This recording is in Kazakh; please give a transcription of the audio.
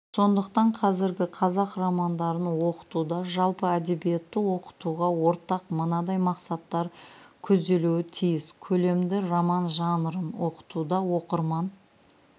сондықтан қазіргі қазақ романдарын оқытуда жалпы әдебиетті оқытуға ортақ мынадай мақсаттар көзделуі тиіс көлемді роман жанрын оқытуда оқырман